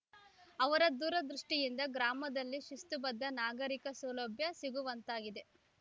ಅವರ ದೂರದೃಷ್ಟಿಯಿಂದ ಗ್ರಾಮದಲ್ಲಿ ಶಿಸ್ತುಬದ್ಧ ನಾಗರಿಕ ಸೌಲಭ್ಯ ಸಿಗುವಂತಾಗಿದೆ